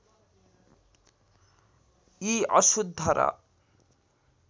यी अशुद्ध र